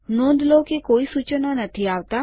નોંધ લો કે કોઈ સૂચનો નથી આવતા